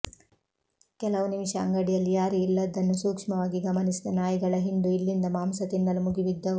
ಕೆಲವು ನಿಮಿಷ ಅಂಗಡಿಯಲ್ಲಿ ಯಾರೂ ಇಲ್ಲದ್ದನ್ನು ಸೂಕ್ಷ್ಮವಾಗಿ ಗಮನಿಸಿದ ನಾಯಿಗಳ ಹಿಂಡು ಇಲ್ಲಿಂದ ಮಾಂಸ ತಿನ್ನಲು ಮುಗಿಬಿದ್ದವು